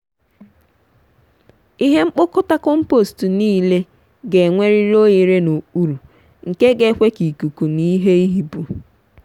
ihe nkpokota kọmpost ṅile ga-enwerịrị oghere n'okpuru nke ga ekwe ka ikuku na ihe ihipu.